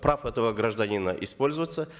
прав этого гражданина использоваться